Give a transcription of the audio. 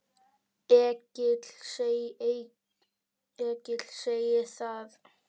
Egill segir það öðru nær.